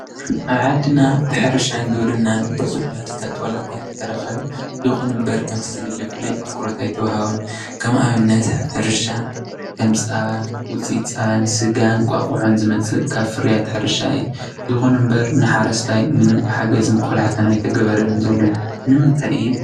ኣብ ዓድና ብሕርሻን ግብርናን ብዙሕ እኳ ንተተረከበ ይኩን እምር ከምቲ ዝድለ ፍሉይ ኣትኩረት ኣይተዋሃቦን ።ከም ኣብነት ሕርሻ ፀባን ውፅኢት ፀባን እንቋቆሖ ዝመሰሉ ካብ ፍርያት ሕርሻ እዩ። ይኩን እምበር ንሓረስታይ ምንም ሓገዝ ይኩን ቆላሕታ ኣይተገበረሉን ዘሎ ።ንምታይ እዩ?